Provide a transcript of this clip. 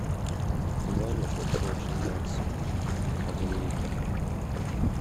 ваниш окси экшен макс один литр